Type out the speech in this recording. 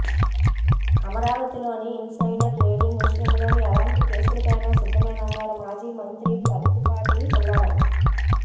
అమరావతిలో insider trading విషయంలో ఎలాంటి కేసులకైనా సిద్ధమేనన్నారు మాజీ మంత్రి ప్రత్తిపాటి పుల్లారావు